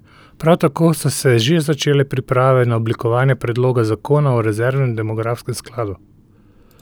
Prav tako so se že začele priprave na oblikovanje predloga zakona o rezervnem demografskem skladu.